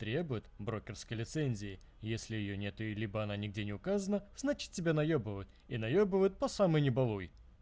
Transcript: требует брокерской лицензии если её нет и либо она нигде не указано значит тебя наёбывают и наёбывают по самое не балуй